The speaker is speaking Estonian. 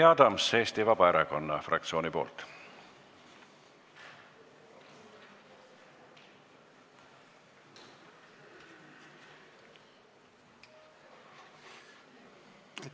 Jüri Adams Eesti Vabaerakonna fraktsiooni nimel.